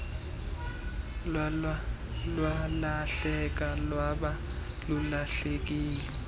lwalahleka lwaba lulahlekile